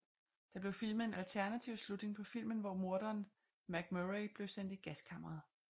Der blev filmet en alternativ slutning på filmen hvor morderen MacMurray blev sendt i gaskammeret